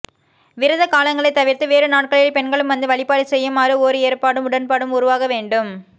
விரத காலங்களைத் தவிர்த்து வேறு நாட்களில் பெண்களும் வந்து வழிபாடு செய்யுமாறு ஒரு ஏற்பாடும் உடன்பாடும் உருவாகவேண்டும்